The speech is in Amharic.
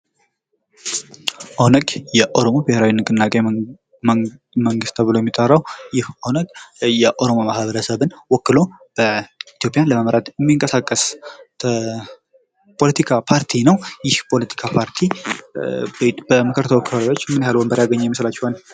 ኦነግ ፦ የኦሮሞ ብሔራዊ ንቅናቄ መንግሥት ተብሎ የሚጠራው ይህ ኦነግ የኦሮሞ ማህበረሰብን ወክሎ ኢትዮጵያን ለመምራት የሚንቀሳቀስ የፖለቲካ ፓርቲ ነው ። ይህ የፖለቲካ ፓርቲ በምክር ተወካዮች ምን ያክል ወንበር ያገኘ ይመስላችኋል ?